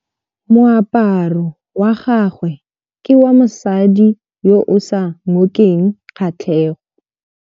Moaparô wa gagwe ke wa mosadi yo o sa ngôkeng kgatlhegô.